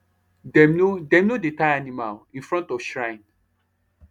dem no dem no dey tie animal in front of shrine